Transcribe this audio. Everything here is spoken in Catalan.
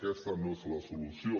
aquesta no és la solució